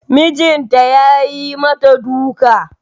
Mijinta yayi mata duka